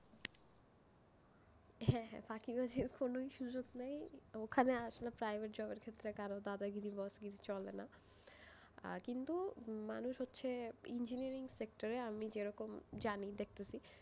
হ্যাঁ হ্যাঁ, ফাঁকিবাজির কোনোই সুযোগ নেই, ওখানে আসলে private job এর ক্ষেত্রে কারো দাদগিরি boss গিরি চলেনা, আহ কিন্তু মানুষ হচ্ছে, engineering sector এ আমি যেরকম জানি, দেখতেছি,